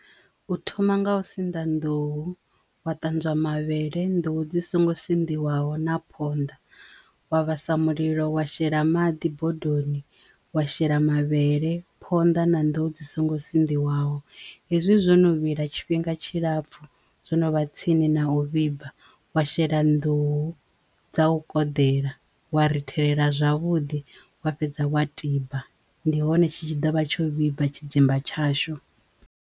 U thoma nga u sinḓa nḓuhu wa ṱanzwa mavhele nḓuhu dzi songo sinḓiwaho na phonḓa wa vhasa mulilo wa shela maḓi bodoni wa shela mavhele, phonḓa na nḓuhu dzi songo sinḓiwaho hezwi zwo no vhila tshifhinga tshilapfhu zwino vha tsini na u vhibva wa shela nḓuhu dza u koḓela wa rithelela zwavhuḓi wa fhedza wa tiba. Ndi hone tshi tshi ḓo vha tsho vhibva tshidzimba tshashu.